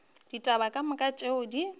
ditaba ka moka tšeo di